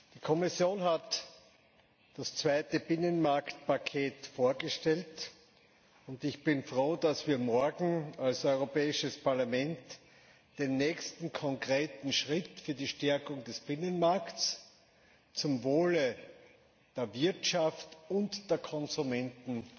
Die Kommission hat das zweite Binnenmarktpaket vorgestellt und ich bin froh, dass wir morgen als Europäisches Parlament den nächsten konkreten Schritt für die Stärkung des Binnenmarkts zum Wohle der Wirtschaft und der Konsumenten